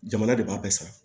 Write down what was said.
Jamana de b'a bɛɛ sara